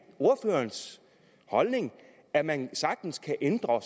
ordførerens holdning at man sagtens kan ændre